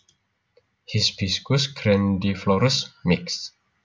Hibiscus grandiflorus Michx